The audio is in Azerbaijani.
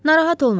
Narahat olma.